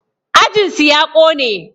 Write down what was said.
Ajin su ya ƙone